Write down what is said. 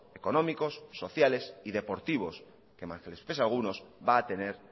económicos sociales y deportivos que mal que les pese a algunos va a tener